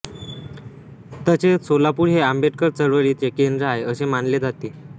तसेच सोलापूर हे आंबेडकर चळवळीचे केंद्र आहे असे मानले जाते